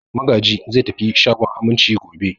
Magaji zai tafi shagon Aminci gobe.